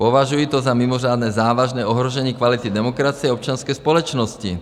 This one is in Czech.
Považuji to za mimořádně závažné ohrožení kvality demokracie občanské společnosti.